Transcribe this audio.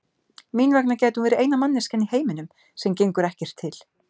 Mín vegna gæti hún verið eina manneskjan í heiminum sem gengur ekkert til.